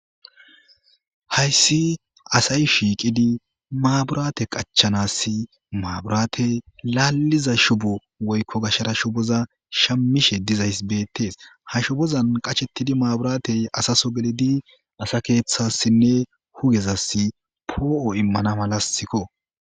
Hayssi asay shiiqidi maaburate qachanassi maaburaate laalliza shubu woykko gashara shuboza shammishe dizaysi beettees. Ha shubozan qachettidi maaburaatey asa soo gelidi asa keeththassinne hugezass poo'o immana malaskko.